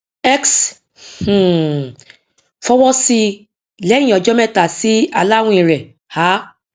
x um fowọsí lẹyìn ọjọ mẹta sí aláwìn rẹ a